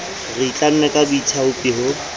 re itlamme ka boithaopi ho